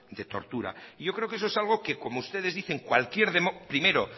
de tortura yo creo que eso es algo que primero